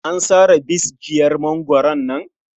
An sare bisjiyar mangwaron nan.